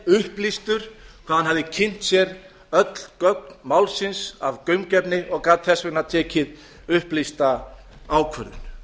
upplýstur hvað hann hafði kynnt sér öll gögn málsins af gaumgæfni og gat þess vegna tekið upplýsta ákvörðun